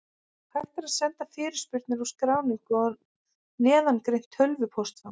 Hægt er að senda fyrirspurnir og skráningu á neðangreint tölvupóstfang.